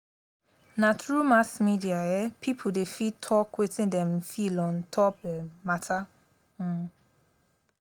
na through mass media um pipo dey fit talk wetin dem feel on-top um mata. um